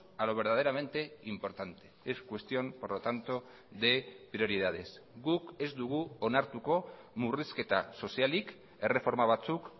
a lo verdaderamente importante es cuestión por lo tanto de prioridades guk ez dugu onartuko murrizketa sozialik erreforma batzuk